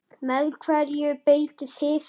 Með hverju beitið þið?